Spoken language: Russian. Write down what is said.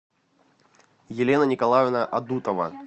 елена николаевна адутова